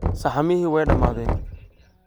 Sahamixi way damadheen.